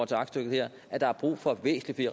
til aktstykket her at der er brug for væsentlig